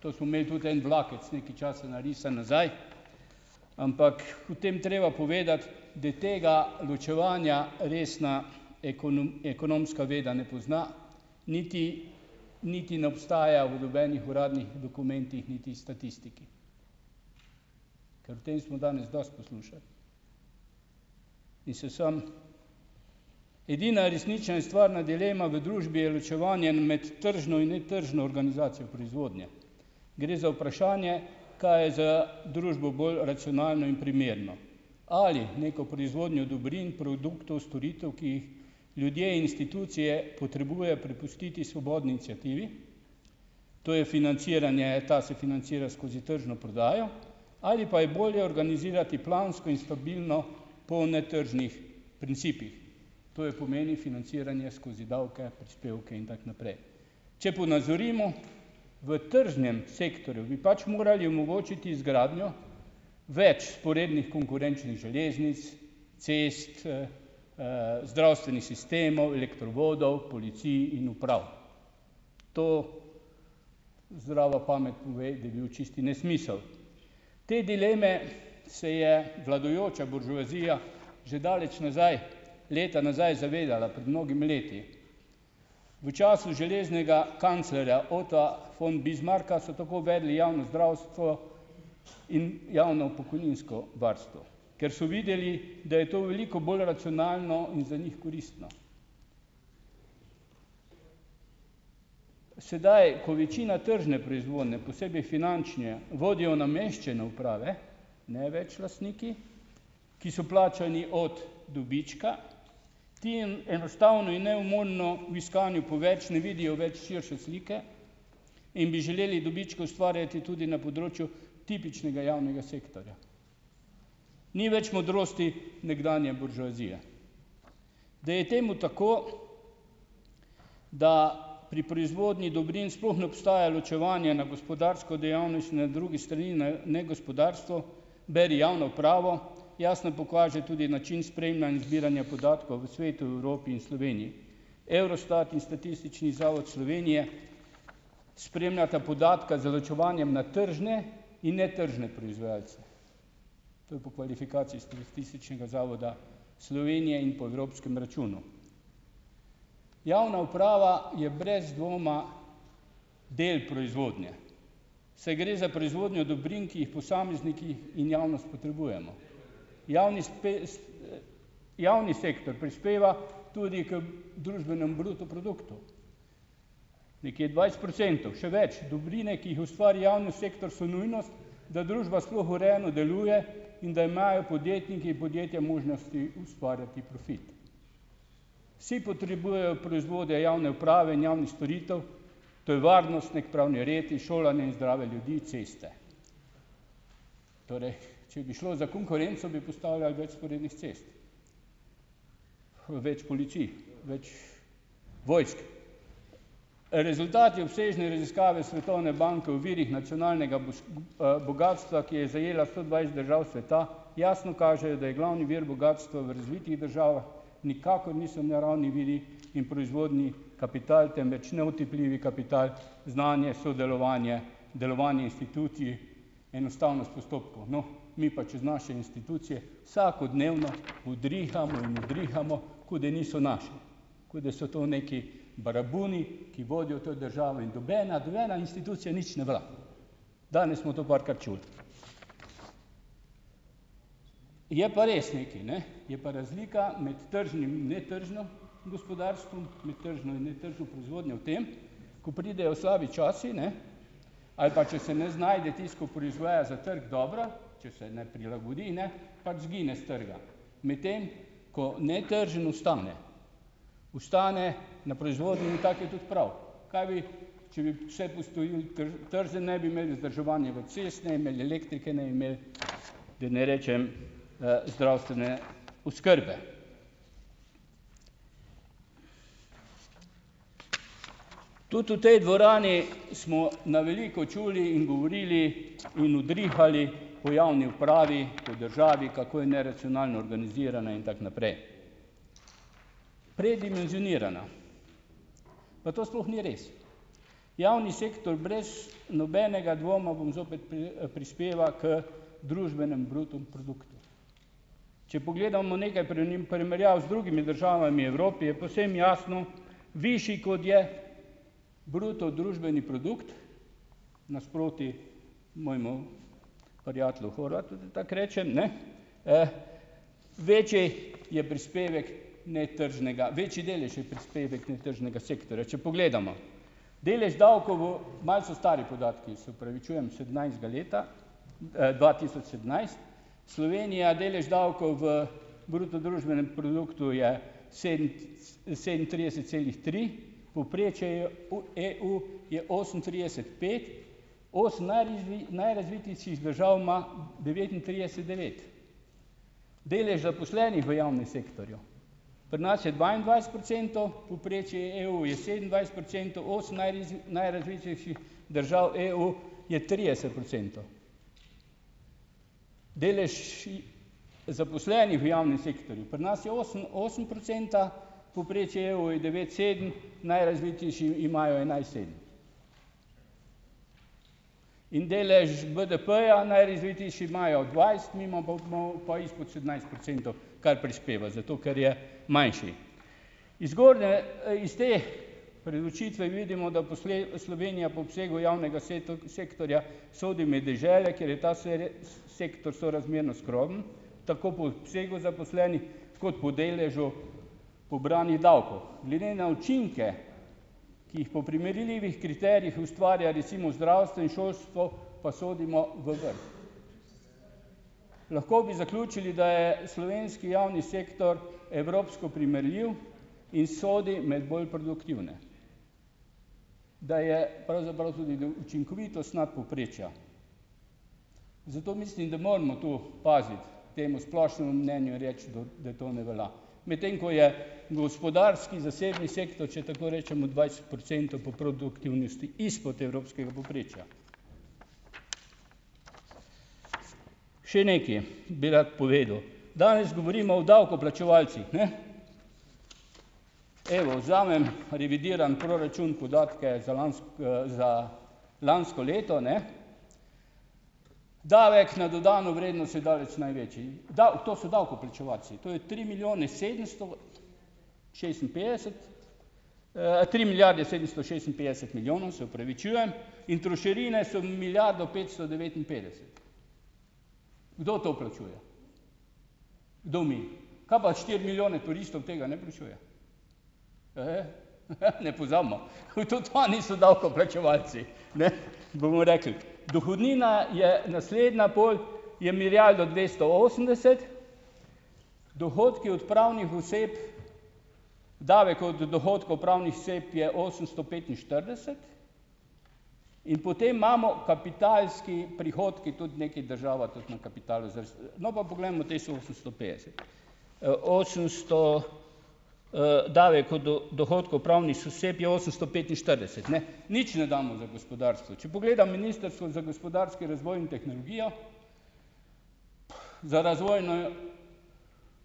To smo imeli tudi en vlakec nekaj časa narisano nazaj. Ampak v tem treba povedati, da tega ločevanja resna ekonomska veda ne pozna, niti niti ne obstaja v nobenih uradnih dokumentih niti statistiki, ker o tem smo danes dosti poslušali. In se sam ... Edina resnična in stvarna dilema v družbi je ločevanje med tržno in netržno organizacijo proizvodnje. Gre za vprašanje, kaj je za družbo bolj racionalno in primerno. Ali neko proizvodnjo dobrin, produktov, storitev, ki jih ljudje, institucije potrebujejo, prepustiti svobodni iniciativi. To je financiranje, ta se financira skozi tržno prodajo. Ali pa je bolje organizirati plansko in stabilno po netržnih principih. To je, pomeni financiranje skozi davke, prispevke in tako naprej. Če ponazorimo, v tržnem sektorju bi pač morali omogočiti izgradnjo več vzporednih konkurenčnih železnic, cest, zdravstvenih sistemov, elektrovodov, policij in uprav. To zdrava pamet pove, da bil čisti nesmisel. Te dileme se je vladajoča buržoazija že daleč nazaj, leta nazaj zavedala, pred mnogimi leti. V času železnega kanclerja Otta von Bismarcka so tako uvedli javno zdravstvo in javno pokojninsko varstvo, ker so videli, da je to veliko bolj racionalno in za njih koristno. Sedaj, ko večina tržne proizvodnje, posebej finančne, vodijo v nameščene uprave, ne več lastniki, ki so plačani od dobička, ti enostavno in neumorno v iskanju po več ne vidijo več širše slike in bi želeli dobičke ustvarjati tudi na področju tipičnega javnega sektorja. Ni več modrosti nekdanje buržoazije. Da je temu tako, da pri proizvodni dobrin sploh ne obstaja ločevanje na gospodarsko "dejavnost", in na drugi strani na negospodarstvo, beri javno upravo, jasno pokaže tudi način spremljanja in zbiranja podatkov v svetu, v Evropi in Sloveniji. Eurostat in Statistični zavod Slovenije, spremljata podatka z ločevanjem na tržne in netržne proizvajalce. To je po kvalifikaciji iz Statističnega zavoda Slovenije in po evropskem računu. Javna uprava je brez dvoma del proizvodnje, saj gre za proizvodnjo dobrin, ki jih posamezniki in javnost potrebujemo, javni javni sektor prispeva tudi k družbenem bruto produktu nekje dvajset procentov, še več, dobrine, ki jih ustvari javni sektor, so nujnost, da družba sploh urejeno deluje in da imajo podjetniki in podjetja možnosti ustvarjati profit. Vsi potrebujejo proizvode javne uprave in javnih storitev, to je varnost, neki pravni red in šolanje in zdrave ljudi, ceste. Torej, če bi šlo za konkurenco, bi postavljali več vzporednih cest, več policij, več vojsk. Rezultati obsežne raziskave Svetovne banke v virih nacionalnega bogastva, ki je zajela sto dvajset držav sveta, jasno kažejo, da je glavni vir bogastva v razvitih državah nikakor niso naravni viri in proizvodni kapital, temveč neotipljivi kapital, znanje, sodelovanje, delovanje institucij, enostavnost postopkov. No, mi pa čez naše institucije vsakodnevno udrihamo in udrihamo, kot da niso naše, kot da so to neki baraboni, ki vodijo to državo in dubena, nobena institucija nič ne velja. Danes smo to parkrat čuli. Je pa res nekaj, ne, je pa razlika med tržnim in netržnim gospodarstvom, med tržno in netržno proizvodnjo v tem, ko pridejo slabi časi, ne, ali pa, če se ne znajde tisti, ko proizvaja za trg dobro, če se ne prilagodi, ne, pač izgine s trga. Medtem ko netržni ostane, ostane na proizvodnji, in tako je tudi prav, kaj bi, tržni ne bi imel vzdrževanja v cesti, ne bi imel elektrike, ne bi imeli, da ne rečem, zdravstvene oskrbe. Tudi v tej dvorani smo na veliko čuli in govorili in udrihali o javni upravi, o državi, kako je neracionalno organizirana in tako naprej. Predimenzionirana. Pa to sploh ni res. Javni sektor, brez nobenega dvoma, bom zopet, prispeva k družbenem bruto produktu. če pogledamo nekaj primerjav z drugimi državami v Evropi, je povsem jasno, višji, kot je bruto družbeni produkt nasproti mojemu prijateljev Horvatu, da tako rečem, ne, večji je prispevek netržnega, večji delež je prispevek netržnega sektorja, če pogledamo. Delež davkov v, malo so stari podatki, se opravičujem, sedemnajstega leta, dva tisoč sedemnajst, Slovenija, delež davkov v bruto družbenem produktu je sedemintrideset celih tri, povprečje je v EU je osemintrideset pet osem najrazvitejših držav ima devetintrideset devet. Delež zaposlenih v javnem sektorju, pri nas je dvaindvajset procentov, povprečje je EU je sedemindvajset procentov, osem najrazvitejših držav EU je trideset procentov. Delež zaposlenih v javnem sektorju, pri nas je osem osem procenta, povprečje EU je devet sedem najrazvitejši imajo enajst sedem in delež BDP-ja, najrazvitejši imajo dvajset, mi imamo pa malo pa izpod sedemnajst procentov kar prispevati, zato ker je manjši. Iz zgornje, iz te preučitve vidimo, da Slovenija po obsegu javnega sektorja sodi med dežele, kjer je ta sektor sorazmerno skromen, tako po obsegu zaposlenih kot po deležu pobranih davkov. Glede na učinke, ki jih po primerljivih kriterijih ustvarja recimo zdravstvo in šolstvo, pa sodimo v vrh. Lahko bi zaključili, da je slovenski javni sektor evropsko primerljiv in sodi med bolj produktivne. Da je pravzaprav tudi učinkovitost nadpovprečja. Zato mislim, da moramo tu paziti temu splošnemu mnenju reči, da da to ne velja. Medtem ko je gospodarski zasebni sektor, če tako rečemo, dvajset procentov po produktivnosti izpod evropskega povprečja. Še nekaj bi rad povedal. Danes govorimo o davkoplačevalcih, ne. Evo, vzamem, revidiram proračun podatke za za lansko leto, ne. Davek na dodano vrednost je daleč največji. To so davkoplačevalci, to je tri milijone sedemsto šestinpetdeset, tri milijarde sedemsto šestinpetdeset milijonov, se opravičujem. In trošarine so milijardo petsto devetinpetdeset. Kdo to plačuje? Kdo mi? Kaj pa štiri milijone turistov tega ne plačuje? Ne pozabimo. Tudi oni so davkoplačevalci. Ne, bomo rekli. Dohodnina je naslednja pol, je milijardo dvesto osemdeset, dohodki od pravnih oseb, davek od dohodkov pravnih oseb je osemsto petinštirideset in potem imamo kapitalske prihodke, tudi nekaj država tudi na kapitalu No, pa poglejmo teh sto petdeset osemsto, osemsto, Davek od dohodkov pravnih oseb je osemsto petinštirideset, ne, nič ne damo za gospodarstvo. Če pogledam Ministrstvo za gospodarski razvoj in tehnologijo, za razvojno